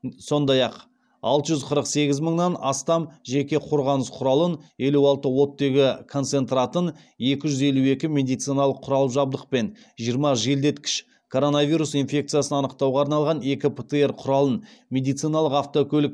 сондай ақ алты жүз қырық сегіз мыңнан астам жеке қорғаныс құралын елу алты оттегі концентратын екі жүз елу екі медициналық құрал жабдық пен жиырма желдеткіш коронавирус инфекциясын анықтауға арналған екі птр құралын медициналық автокөлік